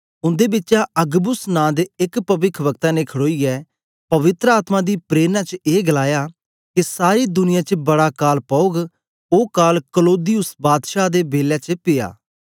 उन्दे बिचा अगबुस नां दे एक पविखवक्ता ने खड़ोईयै पवित्र आत्मा दी प्रेरणा च ए गलाया के सारी दुनिया च बड़ा काल पौगओ काल क्लौदियुस बादशाह दे बेलै च िपया